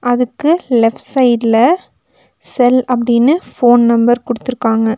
அதுக்கு லெஃப்ட் சைடுல செல் அப்டின்னு ஃபோன் நம்பர் குடுத்துருக்காங்க.